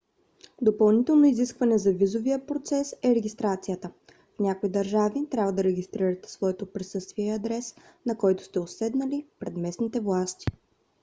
допълнително изискване за визовия процес е регистрацията. в някои държави трябва да регистрирате своето присъствие и адрес на който сте отседнали пред местните власти